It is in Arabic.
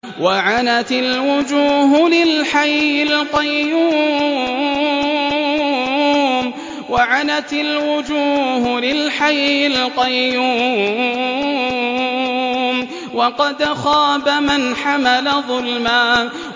۞ وَعَنَتِ الْوُجُوهُ لِلْحَيِّ الْقَيُّومِ ۖ وَقَدْ خَابَ مَنْ حَمَلَ ظُلْمًا